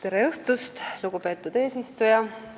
Tere õhtust, lugupeetud eesistuja!